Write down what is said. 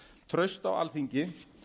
traust á alþingi